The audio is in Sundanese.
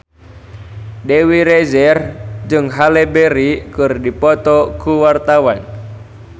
Dewi Rezer jeung Halle Berry keur dipoto ku wartawan